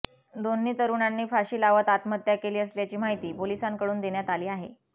दोन्ही तरुणांनी फाशी लावत आत्महत्या केली असल्याची माहिती पोलिसांकडून देण्यात आली आहे